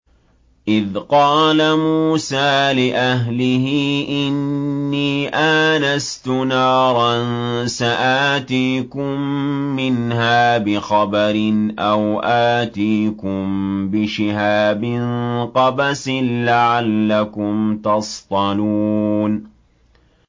إِذْ قَالَ مُوسَىٰ لِأَهْلِهِ إِنِّي آنَسْتُ نَارًا سَآتِيكُم مِّنْهَا بِخَبَرٍ أَوْ آتِيكُم بِشِهَابٍ قَبَسٍ لَّعَلَّكُمْ تَصْطَلُونَ